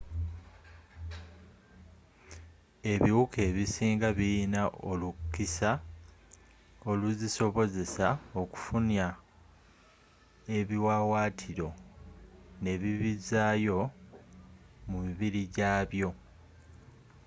ebiwuka ebisinga birina olukisa oluzisobozesa okufunya ebiwaawatiro nebibizaayo mu mibiri gyabyo